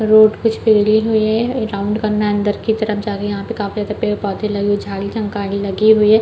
Road पिचपिलडी हुई है राउंड करना है अंदर की तरफ जा के यहाँ पे काफी ज्यादा पेड़ पौधे लगे हुआ है झड़ी झंकाड़ी लगी हुई हैं।